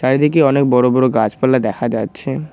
এদিকে অনেক বড় বড় গাছপালা দেখা যাচ্ছে।